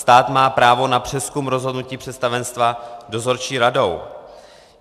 Stát má právo na přezkum rozhodnutí představenstva dozorčí radou.